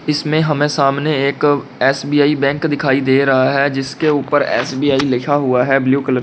इसमें हमें सामने एक एस_बी_आई बैंक दिखाई दे रहा है जिसके ऊपर एस_बी_आई लिखा हुआ है ब्लू कलर में।